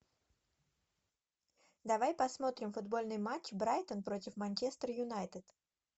давай посмотрим футбольный матч брайтон против манчестер юнайтед